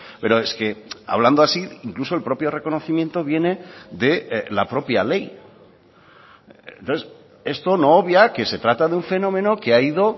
pero es que hablando así incluso el propio reconocimiento viene de la propia ley entonces esto no obvia que se trata de un fenómeno que ha ido